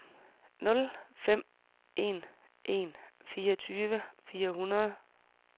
nul fem en en fireogtyve fire hundrede